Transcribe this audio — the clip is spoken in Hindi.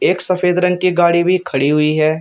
एक सफेद रंग की गाड़ी भी खड़ी हुई है।